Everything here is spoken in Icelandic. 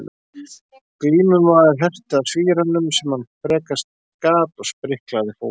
Glímumaður herti að svíranum sem hann frekast gat og spriklaði fótum.